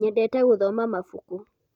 nyendete guthoma mabuku